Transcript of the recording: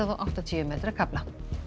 áttatíu metra kafla